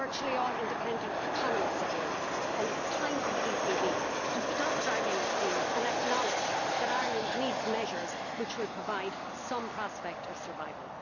virtually all independent economists agree and it is time for the ECB to stop dragging its heels and acknowledge that Ireland needs measures which will provide some prospect of survival.